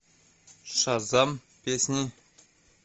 шазам песни